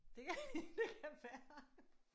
Det kan ja det kan være